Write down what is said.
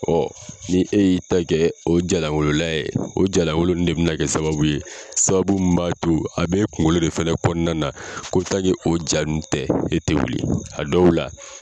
ni e y'i ta kɛ o jaa lankolo layɛ ye o jaa lankolo ninnu de bɛ na kɛ sababu ye sababu min b'a to a b'e kunkolo de fɛnɛ kɔnɔna na ko o jaa nun tɛ e tɛ wuli a dɔw la